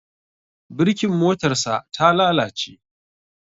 Birkin motarsa ta lalace.